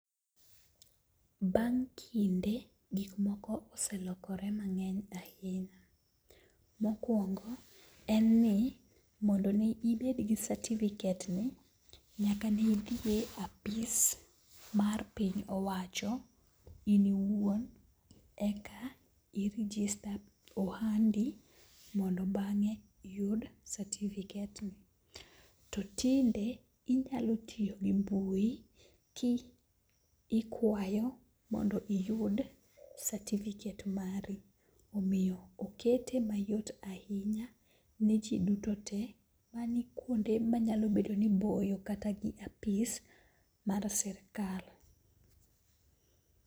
Bang' kinde gik moko oselokore mang'eny ahinya. Mokwongo en ni mondo ne ibed gi certificate ni, nyaka ni idhiye apis mar piny owacho in iwuon. Eka i rijista ohandi mondo bang'e iyud satifiket ni. To tinde inyalo tiyo gi mbui ki ikwayo mondo mi iyud satifiket mari. Omiyo okete mayot ahinya ni ji duto te ma nikuonde ma nya bedo ni boyo kata gi apis mar sirikal.